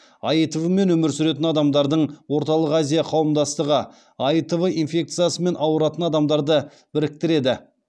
аитв мен өмір сүретін адамдардың орталық азия қауымдастығы аитв инфекциясымен ауыратын адамдарды біріктіреді